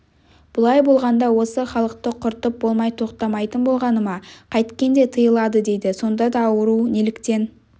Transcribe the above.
бұлай болғанда осы халықты құртып болмай тоқтамайтын болғаны ма қайткенде тыйылады деді сонда да ауру неліктен